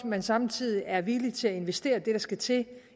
man samtidig er villig til at investere det der skal til